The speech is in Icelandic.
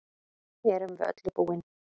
Erum við öllu búin